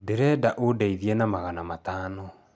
Ndĩrenda ũndeithie na magana matano